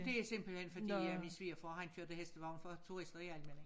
Det er simpelthen fordi min at svigerfar han kørte hestevogn for tursiter i Almindinge